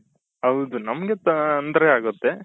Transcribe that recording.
ಹೌದು ನಮ್ಗೆ ತೊಂದ್ರೆ ಆಗುತ್ತೆ